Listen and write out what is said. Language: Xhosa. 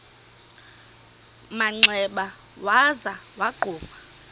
manxeba waza wagquma